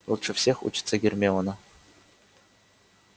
лучше всех учится гермиона